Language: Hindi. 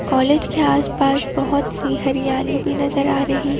कॉलेज के आसपास बहोत सी हरियाली भी नजर आ रही है।